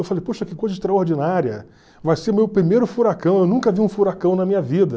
Eu falei, poxa, que coisa extraordinária, vai ser o meu primeiro furacão, eu nunca vi um furacão na minha vida.